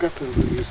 Bu qətildir, yüz?